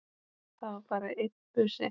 Það var bara einn busi!